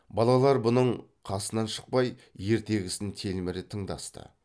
балалар бұның қасынан шықпай ертегісін телміре тыңдасты